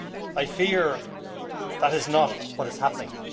I fear that is not what is happening.